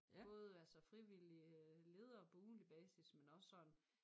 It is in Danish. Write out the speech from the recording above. Både altså frivillig øh leder på ugentlig basis men også sådan